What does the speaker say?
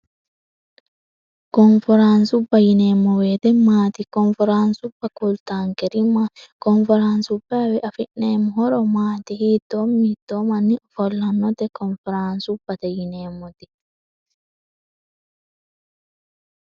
konferaansubba yineemmo weete maati konferaansubba kultaankerima koonferaansubbaawe afi'neemmo horo maati hiittoo mittoomanni ofollannote koonferaansubbate yineemmoti